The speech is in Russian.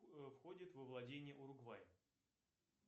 входит во владение уругвай